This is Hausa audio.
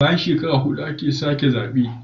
Bayan shekara hudu ake sake zabe